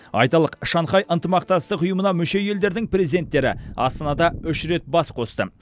айталық шанхай ынтымақтастығы ұйымына мүше елдердің президенттері астанада үш рет бас қосты